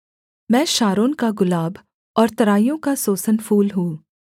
मैं शारोन का गुलाब और तराइयों का सोसन फूल हूँ